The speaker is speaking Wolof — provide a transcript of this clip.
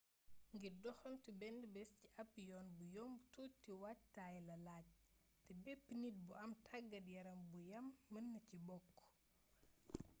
ngir doxantu benn bés ci ab yoon bu yomb tuuti waajtaay la laaj te bepp nit bu am tàggat yaram bu yam mën na ci bokk